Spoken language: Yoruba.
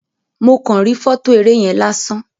Mo kan ri fọto eré yen lásán.